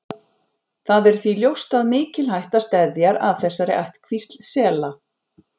Það er því ljóst að mikil hætta steðjar að þessari ættkvísl sela.